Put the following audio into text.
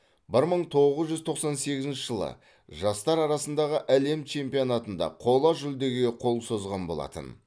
бір мың тоғыз жүз тоқсан сегізінші жылы жастар арасындағы әлем чемпионатында қола жүлдеге қол созған болатын